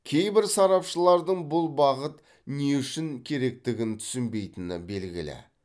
кейбір сарапшылардың бұл бағыт не үшін керектігін түсінбейтіні белгілі